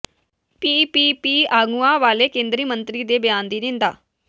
PPP ਆਗੂਆਂ ਵੱਲੋਂ ਕੇਂਦਰੀ ਮੰਤਰੀ ਦੇ ਬਿਆਨ ਦੀ ਨਿੰਦਾ